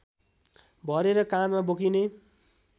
भरेर काँधमा बोकिने